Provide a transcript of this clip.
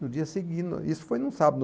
No dia seguinte, isso foi num sábado.